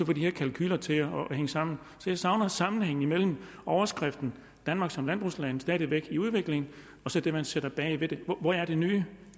de her kalkuler til at hænge sammen så jeg savner sammenhæng mellem overskriften danmark som landbrugsland stadig væk i udvikling og så det man sætter bag ved det hvor er det nye vil